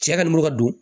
Cɛ ka n'o ka don